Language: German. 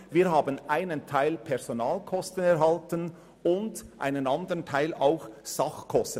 wir erhalten einen Teil Personalkosten und einen Teil Sachkosten.